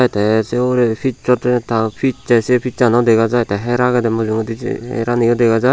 se te sey ugure pish potte ta pishse se pish sano dagajai tay hare agay dey mujunyedi je herani ow dagajai.